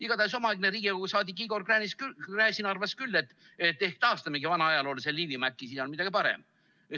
Igatahes omaaegne Riigikogu liige Igor Gräzin arvas küll, et ehk taastamegi vana ajaloolise Liivimaa, äkki on siis midagi paremat.